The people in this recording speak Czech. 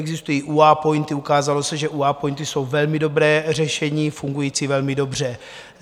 Existují UA POINTy, ukázalo se, že UA POINTy jsou velmi dobré řešení, fungující velmi dobře.